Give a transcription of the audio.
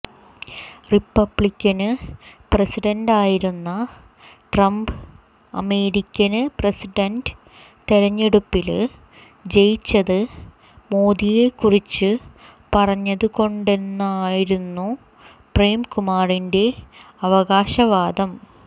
Republican പ്രസിഡന്റായിരുന്ന Trump American president തെരഞ്ഞെടുപ്പില് ജയിച്ചത് മോദിയെ കുറിച്ച് പറഞ്ഞതു കൊണ്ടാണെന്നായിരുന്നു പ്രേം കുമാറിന്റെ അവകാശവാദം